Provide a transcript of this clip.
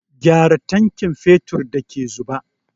Gyara tankin fetur da ke zuba!